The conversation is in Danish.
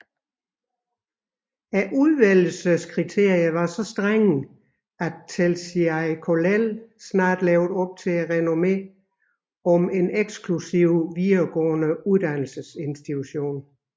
Udvælgelseskriterierne var så strenge at Telšiai Kollel snart levede op til renommeet som en eksklusiv videregående uddannelsesinstitution